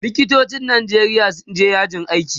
likitocin Nijeria sun je yajin aiki